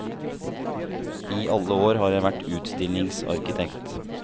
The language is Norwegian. I alle år har jeg vært utstillingsarkitekt.